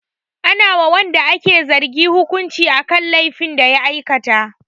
Ana wa wanda ake zargin hukunci akan laifin da ya aikata.